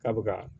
K'a bɛ ka